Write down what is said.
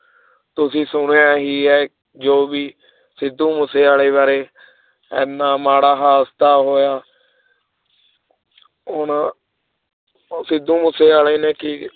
ਤੁਸੀਂ ਸੁਣਿਆ ਹੀ ਹੈ ਜੋ ਵੀ ਸਿੱਧੂ ਮੂਸੇਵਾਲੇ ਬਾਰੇ ਇੰਨਾ ਮਾੜਾ ਹਾਦਸਾ ਹੋਇਆ ਉਹਨਾਂ ਉਹ ਸਿੱਧੂ ਮੂਸੇਵਾਲੇ ਨੇ ਕੀ